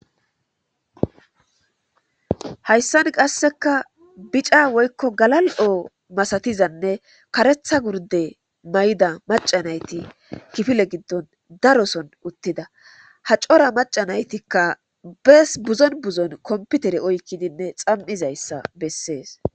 hayssan qassekka bicca woykko galal'oo masatizanne kareththa gurde may'ida maca nayti kifile giddon daro soon uttidda ha cora maca naytikka bees buzon buzon kompitere oykkidinne xam'izayssa bessees